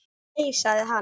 Nei sagði hann.